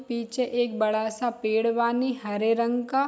पीछे एक बड़ा सा पेड़ बानी हरे रंग का।